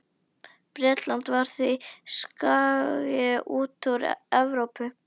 Bretland var því skagi út úr Evrópu.